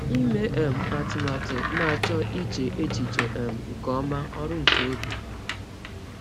Ịme um atụmatụ na-achọ iche echiche um nke ọma—ọrụ nke obi.